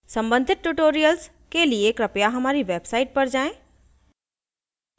सम्बंधित tutorials के लिए कृपया हमारी website पर जाएँ